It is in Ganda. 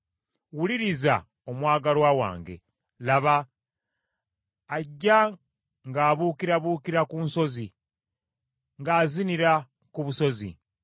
Wuliriza omwagalwa wange, Laba, ajja ng’abuukirabuukira ku nsozi, ng’azinira ku busozi.